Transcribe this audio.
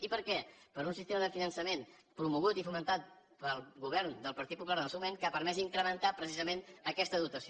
i per què per un sistema de finançament promogut i fomentat pel govern del partit popular en el seu moment que ha permès incrementar precisament aquesta dotació